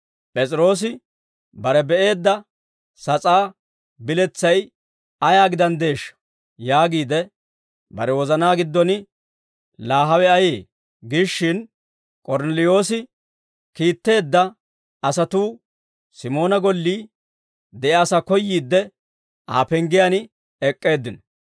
P'es'iroosi bare be'eedda sas'aa biletsay ayaa gidanddeeshsha? Yaagiide, bare wozanaa giddon, «Laa hawe ayee?» giishshin, K'ornneliyoosi kiitteedda asatuu Simoona gollii de'iyaasaa koyyiidde, Aa penggiyaan ek'k'eeddino.